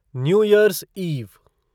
new year's ewe